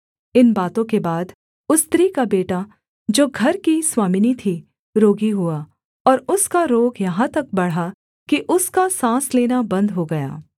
इन बातों के बाद उस स्त्री का बेटा जो घर की स्वामिनी थी रोगी हुआ और उसका रोग यहाँ तक बढ़ा कि उसका साँस लेना बन्द हो गया